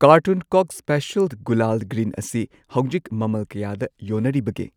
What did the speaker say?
Carton ꯀꯣꯛ special gulal green ꯑꯁꯤ ꯍꯧꯖꯤꯛ ꯃꯃꯜ ꯀꯌꯥꯗ ꯌꯣꯟꯅꯔꯤꯕꯒꯦ?